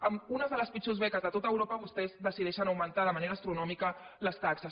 amb unes de les pitjors beques de tot europa vostès decideixen augmentar de manera astronòmica les taxes